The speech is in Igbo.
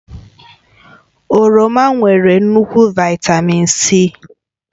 Oroma nwere nnukwu Vị́tamị́n C